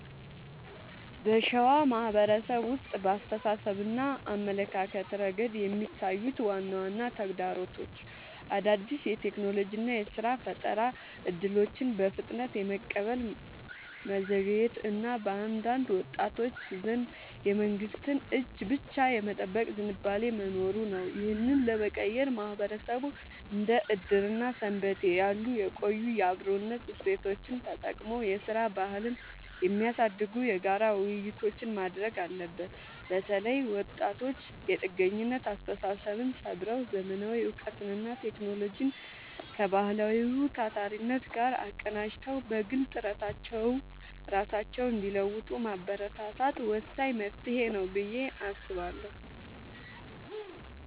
በሸዋ ማህበረሰብ ውስጥ በአስተሳሰብና አመለካከት ረገድ የሚታዩት ዋና ዋና ተግዳሮቶች አዳዲስ የቴክኖሎጂና የሥራ ፈጠራ እድሎችን በፍጥነት የመቀበል መዘግየት እና በአንዳንድ ወጣቶች ዘንድ የመንግስትን እጅ ብቻ የመጠበቅ ዝንባሌ መኖሩ ነው። ይህንን ለመቀየር ማህበረሰቡ እንደ ዕድርና ሰንበቴ ያሉ የቆዩ የአብሮነት እሴቶቹን ተጠቅሞ የሥራ ባህልን የሚያሳድጉ የጋራ ውይይቶችን ማድረግ አለበት። በተለይ ወጣቶች የጥገኝነት አስተሳሰብን ሰብረው: ዘመናዊ እውቀትንና ቴክኖሎጂን ከባህላዊው ታታሪነት ጋር አቀናጅተው በግል ጥረታቸው ራሳቸውን እንዲለውጡ ማበረታታት ወሳኝ መፍትሄ ነው ብዬ አስባለሁ።